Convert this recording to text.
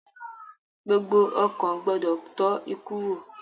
Gbogbo ọkàn gbọdọ tọ́ ikú wò